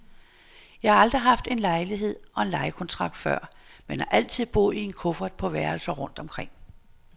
Jeg har aldrig haft en lejlighed og en lejekontrakt før, men har altid boet i en kuffert på værelser rundt omkring.